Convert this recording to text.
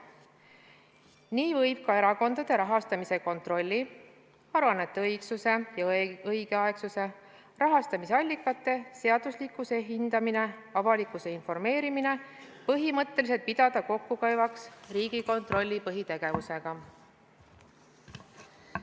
Nii võib ka erakondade rahastamise kontrolli – aruannete õigsuse ja õigeaegsuse, rahastamise allikate seaduslikkuse hindamine, avalikkuse informeerimine – põhimõtteliselt pidada kokkukäivaks Riigikontrolli põhitegevusega.